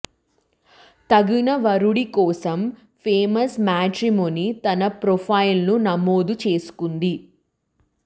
తగిన వరుడి కోసం ఫేమస్ మ్యాట్రిమోనీలో తన ప్రొఫైల్ను నమోదు చేసుకుంది